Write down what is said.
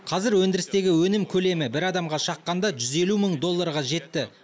қазір өндірістегі өнім көлемі бір адамға шаққанда жүз елу мың долларға жетті